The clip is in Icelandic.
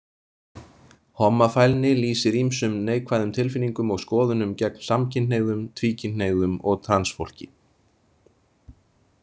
Hommafælni lýsir ýmsum neikvæðum tilfinningum og skoðunum gegn samkynhneigðum, tvíkynhneigðum og transfólki.